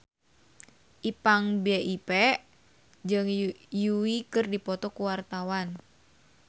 Ipank BIP jeung Yui keur dipoto ku wartawan